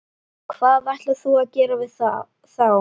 Hvað ætlar þú að gera við þá?